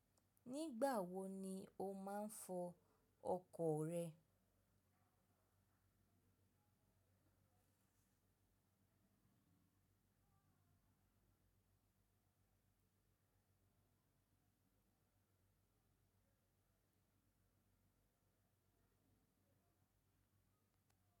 Nígbà wo ni o máa ń fọ ọkọ̀ rẹ?